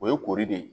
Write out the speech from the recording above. O ye kori de ye